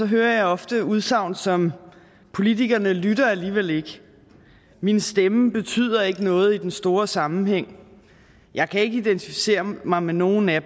hører jeg ofte udsagn som politikerne lytter alligevel ikke min stemmer betyder ikke noget i den store sammenhæng jeg kan ikke identificere mig med nogen af